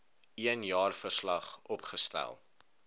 een jaarverslag opgestel